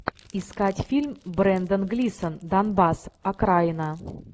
искать фильм брендан глисон донбасс окраина